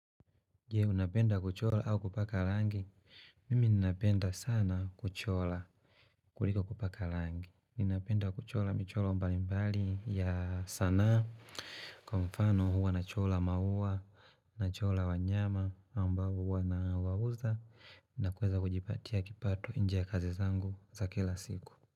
Je, unapenda kuchora au kupaka rangi? Mimi napenda sana kuchora kuliko kupaka rangi. Ninapenda kuchora mchoro mbali mbali ya sanaa. Kwa mfano huwa nachora maua. Nachora wanyama ambao huwa nawauza. Na kuweza kujipatia kipato nje ya kazi zangu za kila siku.